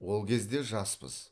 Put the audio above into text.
ол кезде жаспыз